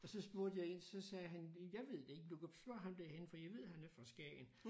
Og så spurgte jeg én så sagde han jeg ved det ikke du kan spørge ham derhenne for jeg ved han er fra Skagen